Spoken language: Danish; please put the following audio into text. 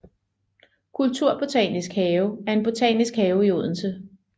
Kulturbotanisk Have er en botanisk have i Odense